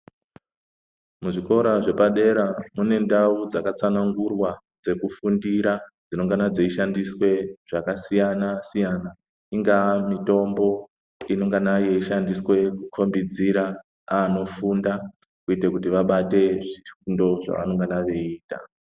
Muzvikora zvepadera mune ndau dzakatsanangurwa dzekufundira dzinongana dzeishandiswa zvakasiyana siyana Inga mitombo inengana yeishandiswa kukombidzira antu kufinda kuita kuti vabate zvifundo zvavanenhe veiita.